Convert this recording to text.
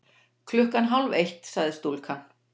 Klukkan hálf eitt, sagði stúlkan.